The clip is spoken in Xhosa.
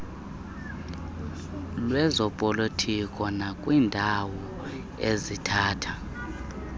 lwezopolitiko nakwiindawo ezithatha